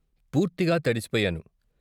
పూర్తిగా తడిసిపోయాను.